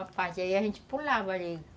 Aí a gente pulava ali.